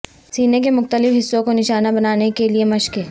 سینے کے مختلف حصے کو نشانہ بنانے کے لئے مشقیں